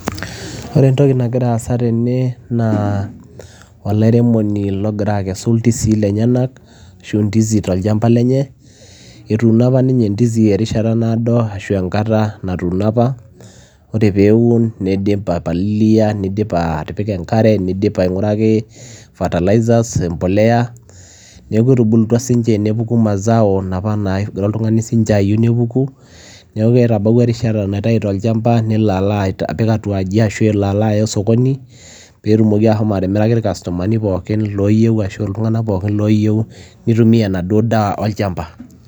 Ore entoki nagira aasa tene naa olairemoni logira akesu ndizii lenyenak ashu ndizi tolchamba lenye, etuuno apa ninye ndizi erishata naado ashu enkata natuuno apa. Ore peeun niidip aipalilia, nidip atipika enkare, niidip aing'uraki fertilizers, embolea, neeku etubulutua siinje nepuku mazao naapa naagira oltung'ani siinje ayeu nepuku. Neeku etabawua erishata naitau tolchamba nelo alo apik atua aji ashu elo alo aya osokoni peetumoki ashomo atimiraki ircustomani pookin looyeu ashu iltung'anak pookin looyeu nitumia enaduo daa olchamba.